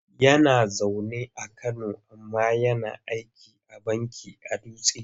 Yana zaune a Kano amma yana sikin banki a Dutse.